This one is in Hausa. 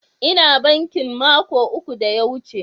Ina bankin mako uku da ya wuce.